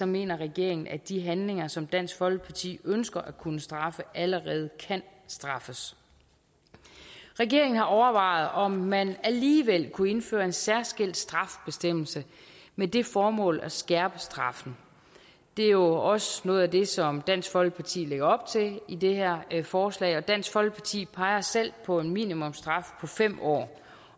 mener regeringen at de handlinger som dansk folkeparti ønsker at kunne straffe allerede kan straffes regeringen har overvejet om man alligevel kunne indføre en særskilt straffebestemmelse med det formål at skærpe straffen det er jo også noget af det som dansk folkeparti lægger op til i det her forslag og dansk folkeparti peger selv på en minimumsstraf på fem år